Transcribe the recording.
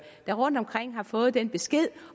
rundtomkring der har fået den besked